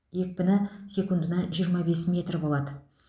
екпіні секундына жиырма бес метр болады